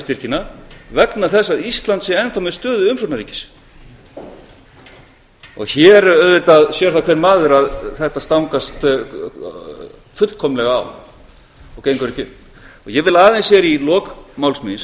baka vegna þess að ísland sé enn þá með stöðu umsóknarríkis hér sér það auðvitað hver maður að þetta stangast fullkomlega á og gengur ekki upp ég vil aðeins í lok máls míns